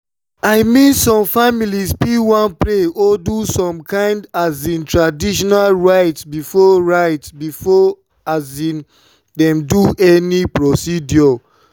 i mean some families fit wan pray or do some kind um traditional rites before rites before um dem do any procedure.